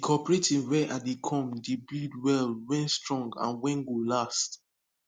the cooperative wen i dey come dey build well wen strong and wen go last